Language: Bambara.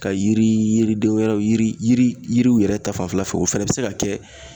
Ka yiri yiriden wɛrɛw yiri yiriw yɛrɛ ta fanfɛla fɛ o fana bɛ se ka kɛ